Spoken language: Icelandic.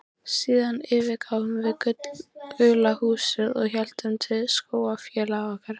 Síðan yfirgáfum við gula húsið og héldum til skólafélaga okkar.